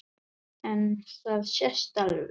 En það sést alveg.